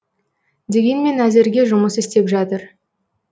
дегенмен әзірге жұмыс істеп жатыр